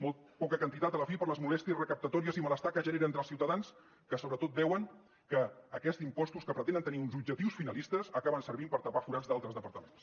molt poca quantitat a la fi per les molèsties recaptatòries i malestar que genera entre els ciutadans que sobretot veuen que aquests impostos que pretenen tenir uns objectius finalistes acaben servint per tapar forats d’altres departaments